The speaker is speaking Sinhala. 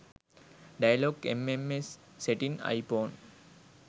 dialog mms setting iphone